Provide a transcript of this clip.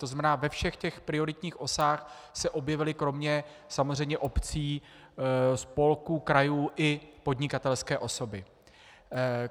To znamená, ve všech těch prioritních osách se objevily kromě samozřejmě obcí, spolků, krajů i podnikatelské osoby.